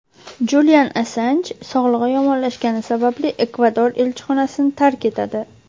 Julian Assanj sog‘lig‘i yomonlashgani sababli Ekvador elchixonasini tark etadi.